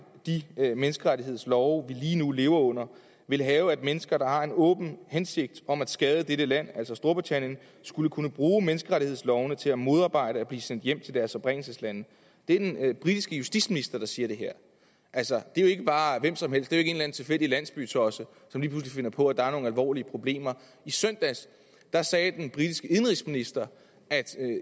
de menneskerettighedslove vi lige nu lever under ville have at mennesker der har en åben hensigt om at skade dette land altså storbritannien skulle kunne bruge menneskeretslovene til at modarbejde at blive sendt hjem til deres oprindelseslande det er den britiske justitsminister der siger det her altså det er jo ikke bare hvem som helst det er en tilfældig landsbytosse som lige pludselig finder på at der er nogle alvorlige problemer i søndags sagde den britiske indenrigsminister at